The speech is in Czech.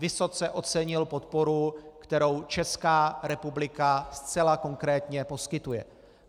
Vysoce ocenil podporu, kterou Česká republika zcela konkrétně poskytuje.